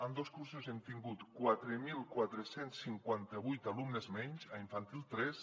en dos cursos hem tingut quatre mil quatre cents i cinquanta vuit alumnes menys a infantil tres